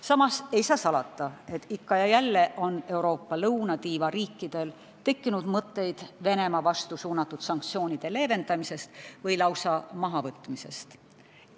Samas ei saa salata, et ikka ja jälle on Euroopa lõunatiiva riikidel tekkinud mõtteid Venemaa vastu suunatud sanktsioonide leevendamisest või lausa mahavõtmisest.